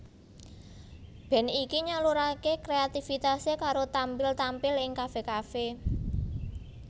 Band iki nyaluraké kreatifitasé karo tampil tampil ing kafe kafe